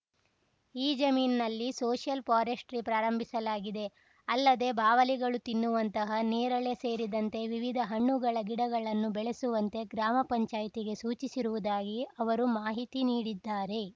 ಈ ಜಮೀನಿನಲ್ಲಿ social forestry ಪ್ರಾರಂಭಿಸಲಾಗಿದೆ ಅಲ್ಲದೆ ಬಾವಲಿಗಳು ತಿನ್ನುವಂತಹ ನೇರಳೆ ಸೇರಿದಂತೆ ವಿವಿಧ ಹಣ್ಣುಗಳ ಗಿಡಗಳನ್ನು ಬೆಳೆಸುವಂತೆ ಗ್ರಾಮ ಪಂಚಾಯತಿಗೆ ಸೂಚಿಸಿರುವುದಾಗಿ ಅವರು ಮಾಹಿತಿ ನೀಡಿದ್ದಾರೆ